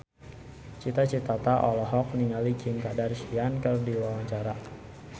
Cita Citata olohok ningali Kim Kardashian keur diwawancara